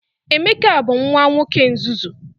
Emeka bu nwa nwoke nzuzu.